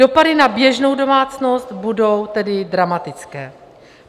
Dopady na běžnou domácnost budou tedy dramatické.